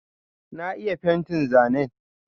Na iya fentin zanen.